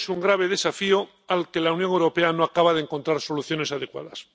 último es un grave desafío al que la Unión Europea no acaba de encontrar soluciones adecuadas.